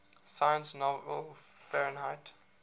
sci fi novel fahrenheit